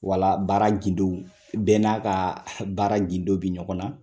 Wa baara gindon, bɛɛ n'a ka baara gindon bɛ ɲɔgɔn na.